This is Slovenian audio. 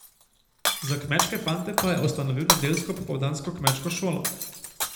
Za kmečke fante pa je ustanovil nedeljsko popoldansko Kmečko šolo.